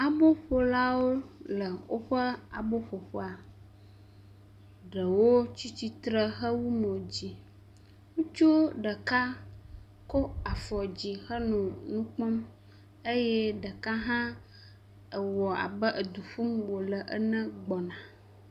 Aboƒolawo le woƒe aboƒoƒea, ɖewo tsi tsitre hewu mod zi. Ŋutsu ɖeka kɔ afɔ dzi henɔ nu kpɔm eye ɖeka hã ewɔ abe edu ƒum wòle ene gbɔna.